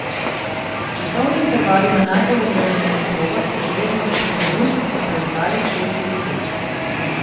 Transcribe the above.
Časovni intervali na najbolj obremenjenih progah so še vedno do pet minut, na preostalih šest do deset.